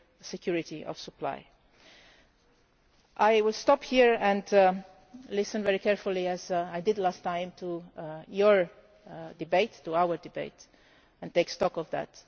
security of supply. I will stop here and listen very carefully, as I did last time, to your debate our debate and take stock of that.